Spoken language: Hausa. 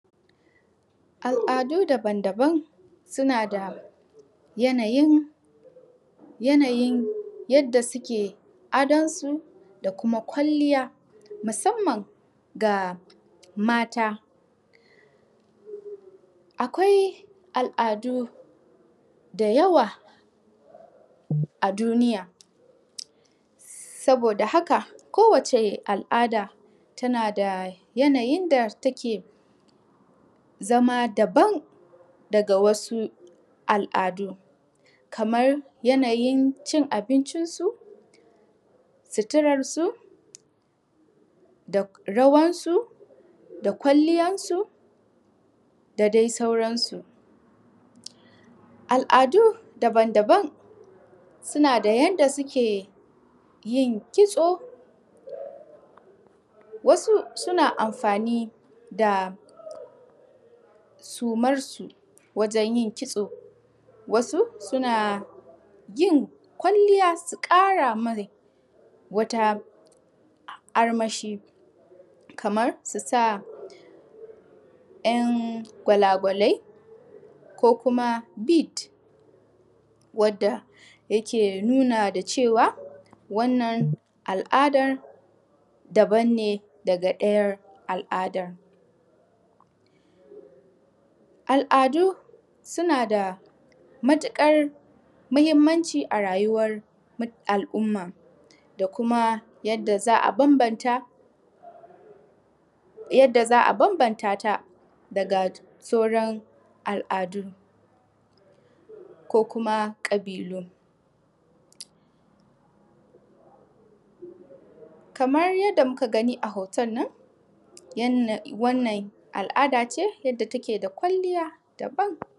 Al'adu daban sunada yanayin yadda suke a donsu da Kuma kwalliya, musamman ga mata akwai al'adu da yawa a duniya saboda haka ko wace al'ada su nada Yana yinda take zama daban daga wasu kamar Yana yincin abinci su, suturan su da rawar su da kwalliya su dai sauran su. Al'adu baban daban su nada yanayin yadda suke yin kitso wasu suna amfani da sumarsu wajen yin kitso, wasu suna yin kwalliya su Kara Mai wata armashi kamar Susa Yan kwala kwale ko Kuma bit, wadda yake nuni da cewa wannan al'adan daban ce daga Daya al'adar. Al'adu su nada matukar mahimmanci a rayuwar al umma da kuma yadda za'a banbanata, yadda za'a banbanata daga sauran al'adun ko Kuma kabilu. Kamar yadda muka a hotonnon wannan al'adace wadda take da kwalliya daban.